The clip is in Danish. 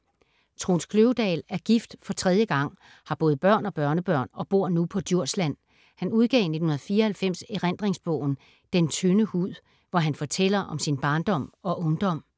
Troels Kløvedal er gift for tredje gang, har både børn og børnebørn og bor nu på Djursland. Han udgav i 1994 erindringsbogen Den tynde hud, hvor han fortæller om sin barndom og ungdom.